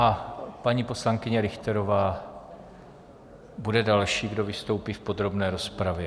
A paní poslankyně Richterová bude další, kdo vystoupí v podrobné rozpravě.